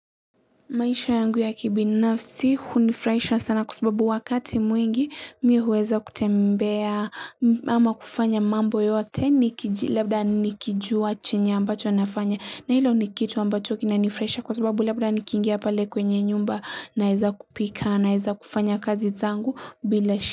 Maisha yangu ya kibinafsi hunifurahisha sana kwa sababu wakati mwengi mimi huweza kutembea ama kufanya mambo yote nikijua chenye ambacho nafanya na hilo nikitu ambacho kinanifurahisha kwa sababu labda nikingia pale kwenye nyumba naweza kupika naweza kufanya kazi zangu bila shi.